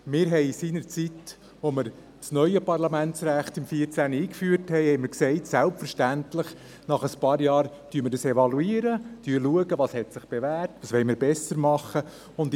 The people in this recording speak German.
Seinerzeit, als wir im Jahr 2014 das neue Parlamentsrecht einführten, sagten wir, wir würden dieses selbstverständlich nach ein paar Jahren evaluieren, um zu sehen, was sich bewährt hat und was wir besser machen können.